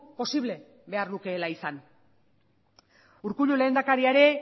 posible behar lukeela izan urkullu lehendakaria ere